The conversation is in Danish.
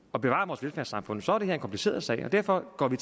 og bevare vores velfærdssamfund så er det her en kompliceret sag derfor går vi